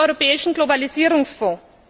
durch den europäischen Globalisierungsfonds.